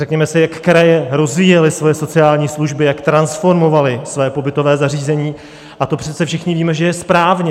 Řekněme si, jak kraje rozvíjely svoje sociální služby, jak transformovaly svá pobytová zařízení, a to přece všichni víme, že je správně.